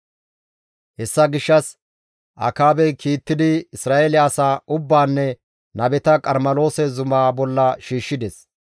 Hessa gishshas Akaabey kiittidi Isra7eele asaa ubbaanne nabeta Qarmeloose zumaa bolla shiishshides.